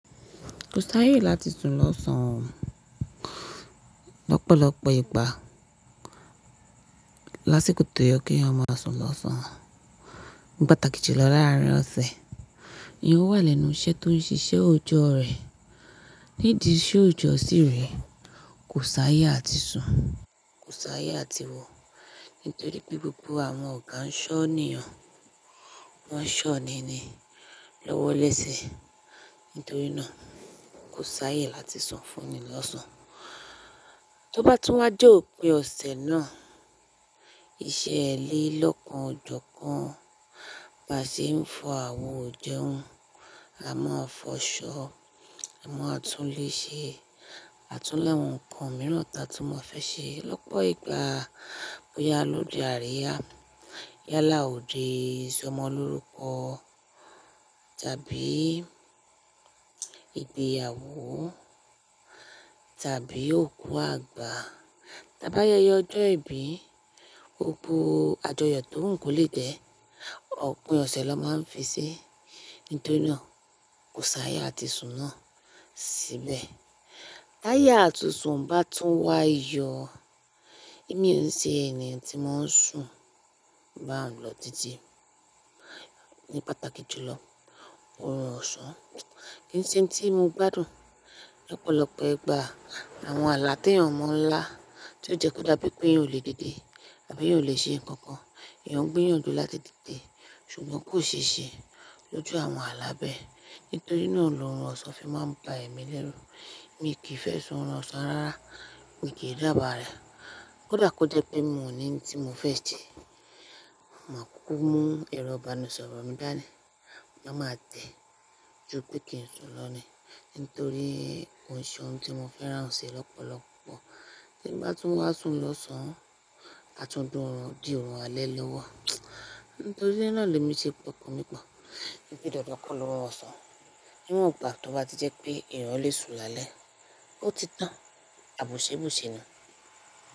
Kò s'àyè láti sùn lọ́ṣan lọ́pọ̀lọpọ̀ ìgbà. Láṣẹ kò tó yẹ kí ẹ̀yàn máa sùn lọ́sàn-án. Ni pàtàkì jùlọ láàárín ọ̀sẹ̀, èèyàn wà lẹ́nu iṣẹ́ tó ń ṣiṣẹ́ òjò rẹ̀. Ni ìdí iṣẹ́ òjò sì rè, kò s'àyè àti sùn, kò s'àyè àti wọ̀. Nítorí pé gbogbo àwọn ọ̀gá ń ṣọ́ni hàn, wọ́n ṣọ́ni ni lọ́wọ́lẹ́sẹ̀. Nítorí náà kò s'àyè láti sùn fún ni lọ́sàn. Tí ó bá tún wá dé òpin ọ̀sẹ̀ náà, iṣẹ́ ẹlẹ́lọ́kan ọ̀jọ̀kan máa ṣe ń fọ àwọ̀ òjẹun. A máa fọ ṣọ́, a máa tún léṣe, a tún le àwọn nǹkan mìíràn ta tí mo fẹ́ ṣe. Lọ́pọ̀ ìgbà bóyá lódì àríyá, yálà òde sọmọ lórúkọ tàbí ìgbéyàwó tàbí òkú àgbà. Tábá yẹ yọ ọjọ́ ìbí, gbogbo àjọyọ̀ tó ń kó léte, ọ̀pin ọ̀sẹ̀ ló máa ń fi sí i. Nítorí náà kò s'àyè àti sùn náà síbẹ̀. Láya àti sùn bá tún wá yọ, èmi ò ṣe ẹni tí wọn ń sùn bá wọn lọ títí. Ni pàtàkì jùlọ, òrò ọ̀sán kì í ṣe ohun tí mo gbádùn lọ́pọ̀lọpọ̀ ìgbà. Àwọn ààlà tí ẹ̀yàn mọ́ ń lá tí ó jẹ́ kó dá bí pé yóò lè dédé tàbí yóò lè ṣe nǹkan kan, ẹ̀yàn gbíyànjú láti dìde ṣùgbọ́n kò ṣe ṣe lójú àwọn ààlà bẹ́ẹ̀. Nítorí náà lòrun ọ̀sán fi máa ń ba ẹ̀mí lẹ́rú. Èmi kì í fẹ́ sọ òrun ọ̀sán rárá, èmi kì í rí àbàà rẹ̀. Ó dà kó jẹ́ pé mò ní ohun tí mo fẹ́ jẹ, màá kúkú mú èròbanisọ̀rọ̀ mi dání. Máa ma tẹ́ ju pé kí n sùn lọ ní, nítorí koshe un tí mo fẹ́ràn ò ṣe é lọ́pọ̀lọpọ̀. Tí mo bá tún wá sùn lọ́sàn, a tún dùn orun di òrun alẹ́ lọ́wọ́. Nítorí náà lemi ṣe pokan mi pọ̀. Kí n to dedekọ́ lọ́wọ́ ọ̀sán, ni wan gba tí ó bá ti jẹ́ pé ẹ̀yàn lè sùn lálẹ́, ó ti tán àbùsẹ́bùsẹ́ náà.